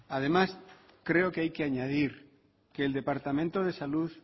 además creo que hay que añadir que el departamento de salud